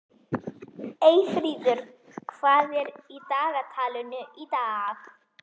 Eyfríður, hvað er í dagatalinu í dag?